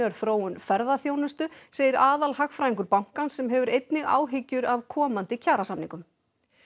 er þróun ferðaþjónustu segir aðalhagfræðingur bankans sem hefur einnig áhyggjur af komandi kjarasamningum